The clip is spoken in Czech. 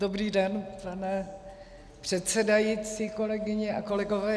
Dobrý den, pane předsedající, kolegyně a kolegové.